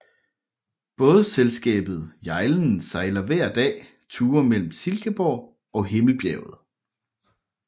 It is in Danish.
Bådselskabet Hjejlen sejler hver dag ture mellem Silkeborg og Himmelbjerget